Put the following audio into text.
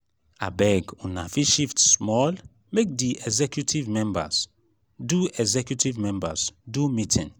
abeg um una fit shift small make di executive members do executive members do meeting.